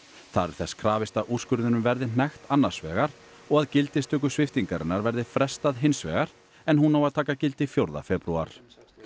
þar er þess krafist að úrskurðinum verði hnekkt annars vegar og að gildistöku sviptingarinnar verði frestað hins vegar en hún á að taka gildi fjórða febrúar